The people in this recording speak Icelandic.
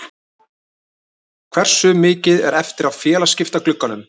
Hversu mikið er eftir af félagaskiptaglugganum?